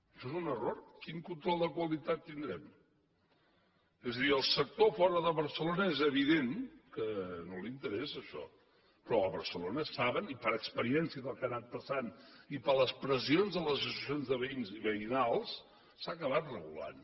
això és un error quin control de qualitat tindrem és a dir al sector de fora de barcelona és evident que no li interessa això però a barcelona ho saben i per l’experiència del que ha anat passant i per les pressions de les associacions de veïns i veïnals que s’ha acabat regulant